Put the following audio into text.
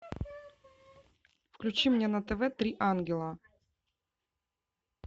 включи мне на тв три ангела